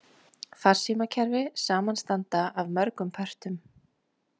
Farsímakerfi samanstanda af mörgum pörtum.